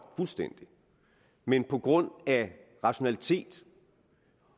men på grund af rationalitet